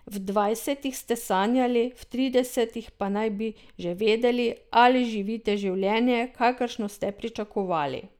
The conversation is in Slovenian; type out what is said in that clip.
V dvajsetih ste sanjali, v tridesetih pa naj bi že vedeli, ali živite življenje, kakršno ste pričakovali.